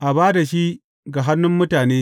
a ba da shi ga hannun mutane.